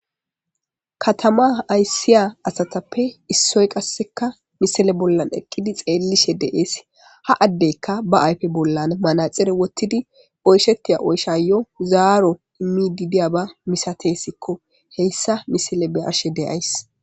katama aysiya asatappe issoy qasseka misele bollan eqqidi xeellishe de7ees ha addeykka ba ayfe bollan manaxire wottidi oyshettiya oysha yo zaaro immi diidiya ba misatesikko heyssa misele be arshe deyays